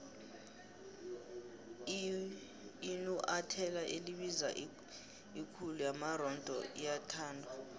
inuathelo elibiza ikhulu yamaronda liyathandwa